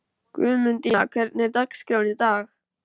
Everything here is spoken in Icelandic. Guðmundína, hvernig er dagskráin í dag?